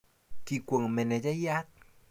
kikwong manejayat